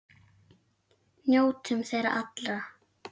Njótum þeirra allra.